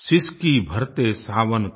सिसकी भरते सावन का